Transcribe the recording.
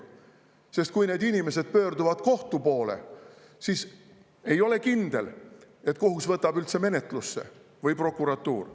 Sest kui need inimesed pöörduvad kohtu poole, siis ei ole kindel, et kohus võtab üldse menetlusse või prokuratuur.